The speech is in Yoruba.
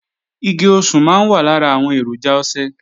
Igi osùn máa wà lára àwọn èròjà ọṣẹ